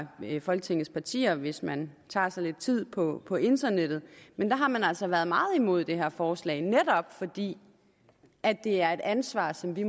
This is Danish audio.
folketingets partier hvis man tager sig lidt tid på på internettet men der har man altså været meget imod det her forslag netop fordi at det er et ansvar som vi